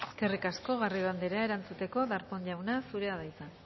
eskerrik asko garrido anderea erantzuteko darpón jauna zurea da hitza